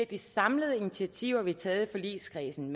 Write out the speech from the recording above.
de samlede initiativer vi har taget i forligskredsen